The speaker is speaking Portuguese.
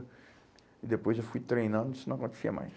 E depois eu fui treinando, isso não acontecia mais.